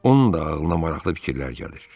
onun da ağlına maraqlı fikirlər gəlir.